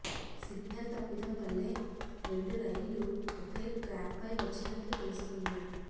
signal తప్పిదం వల్లే రెండు రైళ్లు ఒకే ట్రాక్పై వచ్చినట్లు తెలుస్తోంది